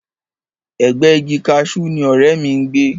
Ẹ̀gbẹ́ẹ igi kaṣú ni ọ̀rẹ́ mi ń gbé